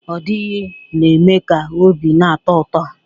Ọdịghị na-eme ka obi na-atọ ụtọ